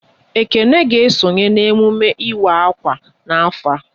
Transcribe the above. Ekene ga esonye n'emume ịwa akwa n'afọ a